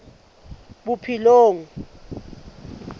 bophelong